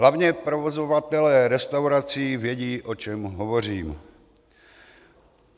Hlavně provozovatelé restaurací vědí, o čem hovořím.